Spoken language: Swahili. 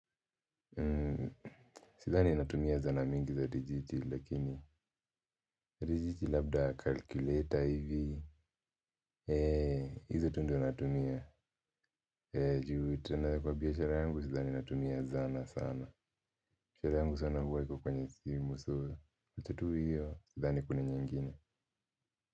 Sithani natumia zana mingi za digiti lakini digiti labda calculator hivi. Eee hiz tu ndio natumia. Eee juu tena kwa biashara yangu sdhhani natumia zana sana. Biashara yangu sana huwa iko kwenye simu. So after tu hiyo sidhani kuna nyingine